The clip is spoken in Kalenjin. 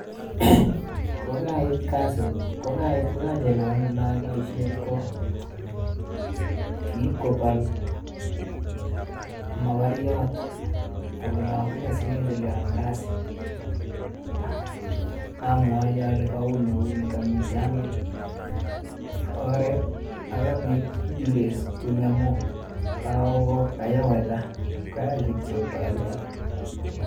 kokait kasit kokait kokachelewan eng oleae paishet ko, kip kopol magoriot akole amunee sikechelewan kasit amwachi ale kami kuni ak kouni kami jamit oret, ak kapit delays kuni amuu kayaa weather koyach kityo koelewan.